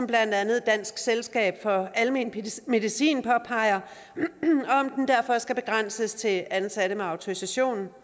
blandt andet dansk selskab for almen medicin påpeger og om den derfor skal begrænses til ansatte med autorisation